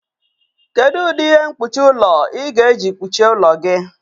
Kedu ụdị ihe mkpuchi ụlọ ị ga-eji kpuchie ụlọ gị?